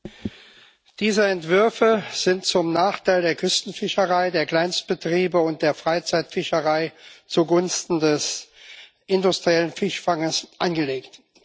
Herr Präsident! Diese Entwürfe sind zum Nachteil der Küstenfischerei, der Kleinstbetriebe und der Freizeitfischerei, zugunsten des industriellen Fischfangs angelegt.